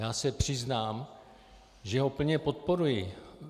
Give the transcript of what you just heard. Já se přiznám, že ho plně podporuji.